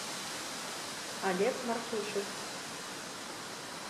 олег мартюшев